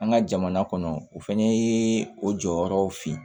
An ka jamana kɔnɔ o fana ye o jɔyɔrɔw fin